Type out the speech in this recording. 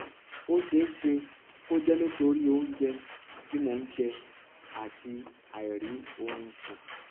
ó ṣeé ṣe kó jẹ nítorí oúnjẹ tí mò ń jẹ àti àìrí oorun sùn